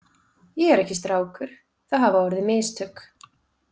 Ég er ekki strákur, það hafa orðið mistök.